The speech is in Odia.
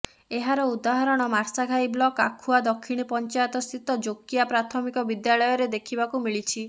ଏହାର ଉଦାହରଣ ମାର୍ଶାଘାଇ ବ୍ଲକ୍ ଆଖୁଆ ଦକ୍ଷିଣୀ ପଞ୍ଚାୟତସ୍ଥିତ ଯୋକିଆ ପ୍ରାଥମିକ ବିଦ୍ୟାଳୟରେ ଦେଖିବାକୁ ମିିଳିଛି